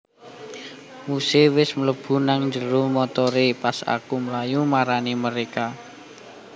Muse wes mlebu nang njero montore pas aku mlayu marani mereka